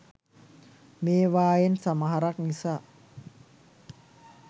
මේවායෙන් සමහරක් නිසා